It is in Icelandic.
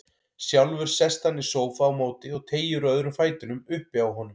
Sjálfur sest hann í sófa á móti og teygir úr öðrum fætinum uppi á honum.